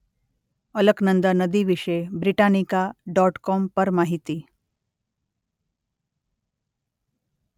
અલકનંદા નદી વિશે Britannica dot com પર માહિતી.